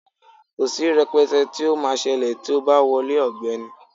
Kò sí rẹ̀pẹ̀tẹ tí ó máa ṣẹlẹ̀ tí o bá wọlé ọ̀gbẹ́ni.